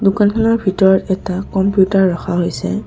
দোকানখনৰ ভিতৰত এটা কম্পিউটাৰ ৰখা হৈছে।